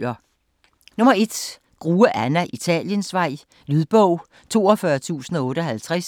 Grue, Anna: Italiensvej Lydbog 42058